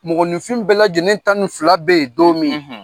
Mɔgɔninfin bɛɛ lajɛlen tan ni fila be yen don min?